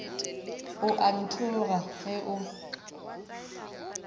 o a nthoga ge o